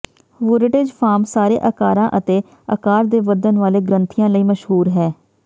ਵੁਰੇਟਜ਼ farm ਸਾਰੇ ਆਕਾਰਾਂ ਅਤੇ ਆਕਾਰ ਦੇ ਵਧਣ ਵਾਲੇ ਗ੍ਰੰਥੀਆਂ ਲਈ ਮਸ਼ਹੂਰ ਹੈ